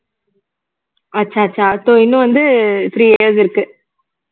அச்சா அச்சா so இன்னும் வந்து three years இருக்கு